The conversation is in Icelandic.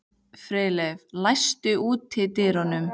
Freyleif, læstu útidyrunum.